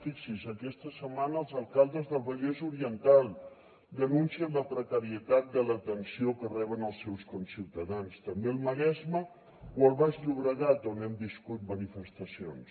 fixi’s aquesta setmana els alcaldes del vallès oriental denuncien la precarietat de l’atenció que reben els seus conciutadans també el maresme o el baix llobregat on hem viscut manifestacions